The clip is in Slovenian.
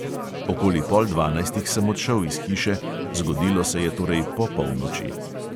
Okoli pol dvanajstih sem odšel iz hiše, zgodilo se je torej po polnoči.